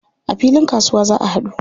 A filin kasuwa za a haɗu.